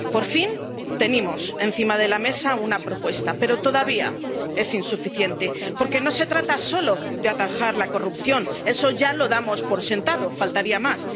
Por fin tenemos encima de la mesa una propuesta, pero todavía es insuficiente, porque no se trata solo de atajar la corrupción —eso ya lo damos por sentado, faltaría más—.